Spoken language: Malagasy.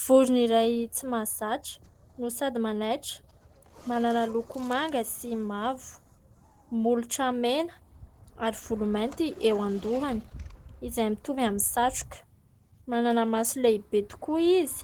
Vorina iray tsy mahazatra no sady manaitra, manana loko manga sy mavo, molotra mena ary volo mainty eo an-dohany izay mitovy amin'ny satroka, manana maso lehibe tokoa izy,